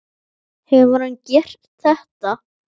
Hefur hann gert það?